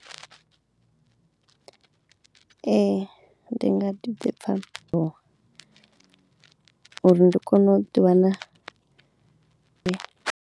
Ee ndi nga ḓi pfha uri ndi kone u ḓiwana.